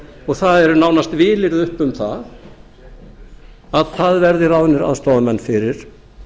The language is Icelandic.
og það eru nánast vilyrði uppi um að það verði ráðnir aðstoðarmenn fyrir